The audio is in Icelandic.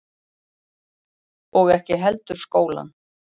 Og ekki heldur skólann.